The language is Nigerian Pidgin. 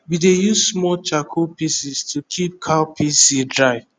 we dey use small charcoal piece to keep cowpea seed dry